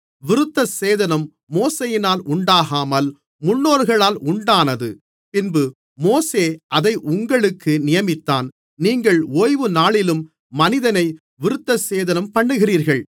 விருத்தசேதனம் மோசேயினால் உண்டாகாமல் முன்னோர்களால் உண்டானது பின்பு மோசே அதை உங்களுக்கு நியமித்தான் நீங்கள் ஓய்வுநாளிலும் மனிதனை விருத்தசேதனம்பண்ணுகிறீர்கள்